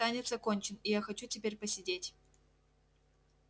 танец окончен и я хочу теперь посидеть